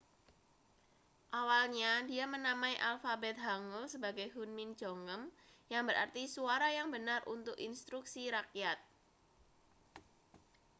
awalnya dia menamai alfabet hangeul sebagai hunmin jeongeum yang berarti suara yang benar untuk instruksi rakyat